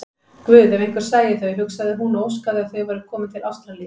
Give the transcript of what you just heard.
Guð, ef einhver sæi þau, hugsaði hún og óskaði að þau væru komin til Ástralíu.